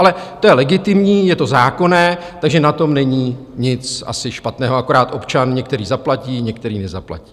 Ale to je legitimní, je to zákonné, takže na tom není asi nic špatného, akorát občan některý zaplatí, některý nezaplatí.